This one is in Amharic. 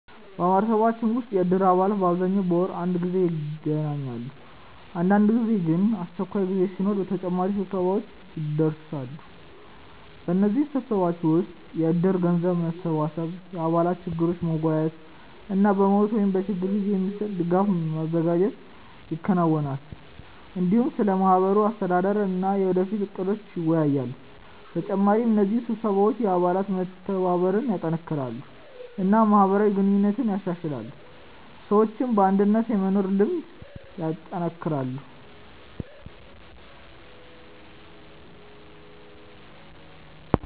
በማህበረሰባችን ውስጥ የእድር አባላት በአብዛኛው በወር አንድ ጊዜ ይገናኛሉ። አንዳንድ ጊዜ ግን አስቸኳይ ጉዳይ ሲኖር ተጨማሪ ስብሰባዎች ይደርሳሉ። በእነዚህ ስብሰባዎች ወቅት የእድር ገንዘብ መሰብሰብ፣ የአባላት ችግሮችን መወያየት እና በሞት ወይም በችግር ጊዜ የሚሰጥ ድጋፍ ማዘጋጀት ይከናወናል። እንዲሁም ስለ ማህበሩ አስተዳደር እና የወደፊት እቅዶች ይወያያሉ። በተጨማሪ እነዚህ ስብሰባዎች የአባላት መተባበርን ያጠናክራሉ እና ማህበራዊ ግንኙነትን ያሻሽላሉ፣ ሰዎችም በአንድነት የመኖር ልምድ ያጠናክራሉ።